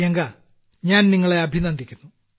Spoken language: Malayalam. പ്രിയങ്ക ഞാൻ നിങ്ങളെ അഭിനന്ദിക്കുന്നു